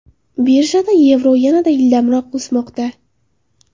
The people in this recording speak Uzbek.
Birjada yevro yanada ildamroq o‘smoqda.